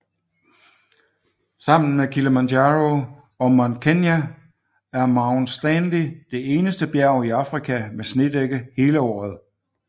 Sammen med Kilimanjaro og Mount Kenya er Mount Stanley det eneste bjerg i Afrika med snedække hele året